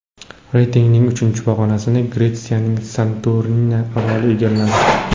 Reytingning uchinchi pog‘onasini Gretsiyaning Santorini oroli egalladi.